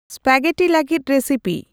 spaghetti ᱞᱟᱹᱜᱤᱫ recipe